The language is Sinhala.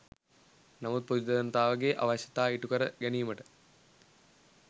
නමුත් පොදු ජනතාවගේ අවශ්‍යතා ඉටු කර ගැනීමට